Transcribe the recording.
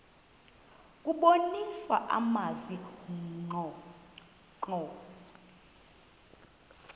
kubonisa amazwi ngqo